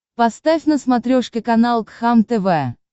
поставь на смотрешке канал кхлм тв